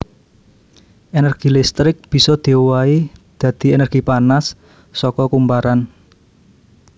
Énergi listrik bisa diowahi dadi énergi panas saka kumparan